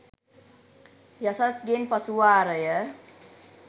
යසස් ගෙන් පසු වාරය